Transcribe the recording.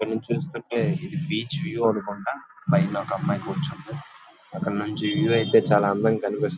ఇక్కడ నుంచి చూస్తుంటే బీచ్ వ్యూ అన్న మాట పైన ఒక అమ్మాయి కూర్చొని ఉన్నదీ అక్కడ నుంచి వ్యూ చాలా అందంగా కనిపిస్తోంది.